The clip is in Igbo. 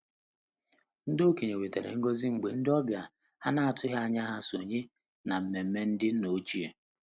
Ndị okenye nwetara ngọzi mgbe ndị ọbịa ha na-atụghị anya ha sonye n'nmenme ndị nna ochie.